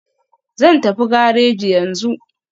Zan tafi gareji yanzu.